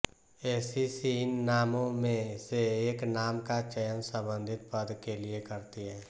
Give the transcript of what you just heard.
ACC इन नामों में से एक नाम का चयन संबंधित पद के लिए करती है